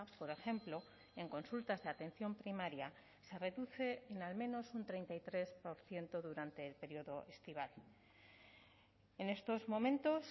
por ejemplo en consultas de atención primaria se reduce en al menos un treinta y tres por ciento durante el periodo estival en estos momentos